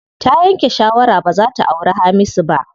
Ta yanke shawara baza ta auri Hamisu ba.